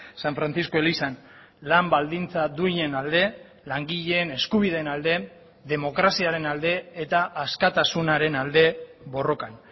san francisco elizan lan baldintza duinen alde langileen eskubideen alde demokraziaren alde eta askatasunaren alde borrokan